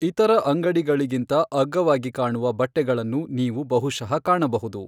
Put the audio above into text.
ಇತರ ಅಂಗಡಿಗಳಿಗಿಂತ ಅಗ್ಗವಾಗಿ ಕಾಣುವ ಬಟ್ಟೆಗಳನ್ನು ನೀವು ಬಹುಶಃ ಕಾಣಬಹುದು.